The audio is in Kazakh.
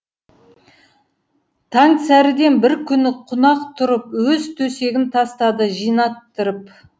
таңсәріден бір күні қунақ тұрып өз төсегін тастады жинаттырып